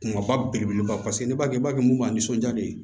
Kumaba belebeleba mun b'a nisɔnja de